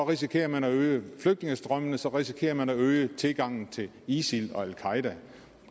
risikerer man at øge flygtningestrømmene så risikerer man at øge tilgangen til isil og al qaeda